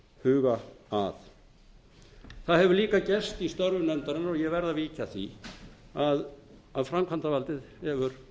huga að það hefur líka gerst í störfum nefndarinnar og ég verð að víkja að því að framkvæmdarvaldið hefur